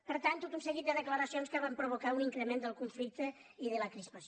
per tant tot un seguit de de·claracions que van provocar un increment del conflic·te i de la crispació